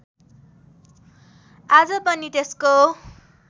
आज पनि त्यसको